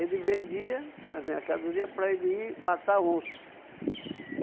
Ele vendia as mercadoria para ele ir matar onça.